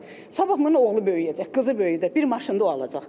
Sabah bunun oğlu böyüyəcək, qızı böyüyəcək, bir maşını da o alacaq.